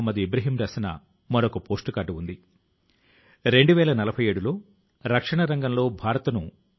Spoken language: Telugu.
వరుణ్ గారు తాను ఒక్క విద్యార్థి ని ప్రేరేపించగలిగినా అది కూడా చాలా ఎక్కువ అవుతుంది అని రాశారు